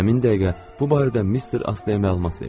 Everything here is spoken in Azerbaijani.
Həmin dəqiqə bu barədə Mister Astaya məlumat verdim.